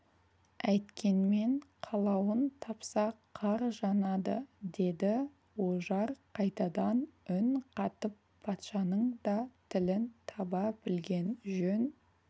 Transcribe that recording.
әйткенмен қалауын тапса қар жанады деді ожар қайтадан үн қатып патшаның да тілін таба білген жөн